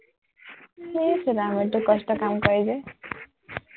ইচ ৰাম এইটো কষ্টৰ কাম কয় যে